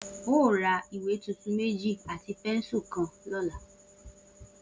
O óò ra ìwé tuntun méjì àti pé̩nsù kan ló̩la!